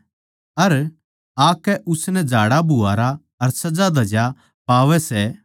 अर आकै उसनै झाड़ाबुहारा अर सजाधज्या पावै सै